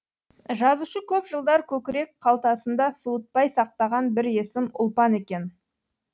жазушы көп жылдар көкірек қалтасында суытпай сақтаған бір есім ұлпан екен